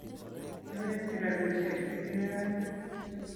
kiawekchi robishek chekioyochee